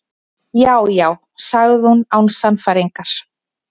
Já, já- sagði hún án sannfæringar.